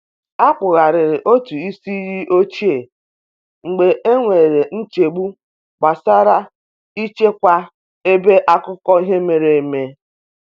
A kpugharịrị otụ isi iyi ochie mgbe e nwere nchegbu gbasara i chekwa ebe akụkọ ihe mere eme.